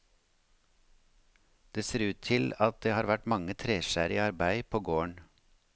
Det ser ut til at det har vært mange treskjærere i arbeid på gården.